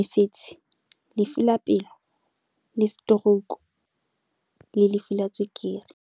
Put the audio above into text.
mefetshe lefu la pelo le setorouku asthma lefu la tswekere.